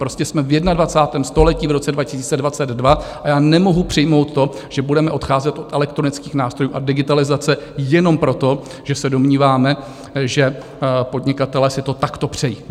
Prostě jsme v 21. století, v roce 2022, a já nemohu přijmout to, že budeme odcházet od elektronických nástrojů a digitalizace jenom proto, že se domníváme, že podnikatelé si to takto přejí.